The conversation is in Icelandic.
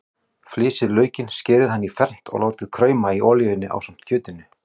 Flysjið laukinn, skerið hann í fernt og látið krauma í olíunni ásamt kjötinu.